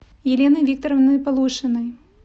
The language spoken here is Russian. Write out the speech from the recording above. еленой викторовной полушиной